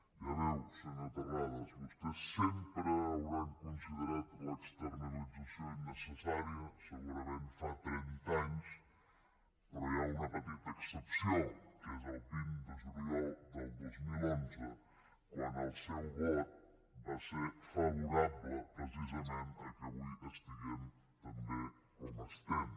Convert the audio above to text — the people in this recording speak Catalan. ja ho veu senyor terrades vostès sempre hauran considerat l’externalització innecessària segurament fa trenta anys però hi ha una petita excepció que és el vint de juliol del dos mil onze quan el seu vot va ser favorable precisament que avui estiguem també com estem